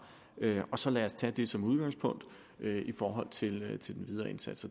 og så lad os tage det som udgangspunkt i forhold til til den videre indsats